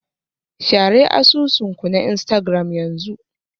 Share asusun ku na Instagram yanzu.